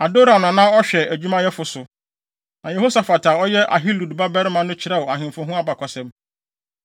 Adoram na na ɔhwɛ adwumayɛfo so, na Yehosafat a ɔyɛ Ahilud babarima no kyerɛw ahemfo ho abakɔsɛm.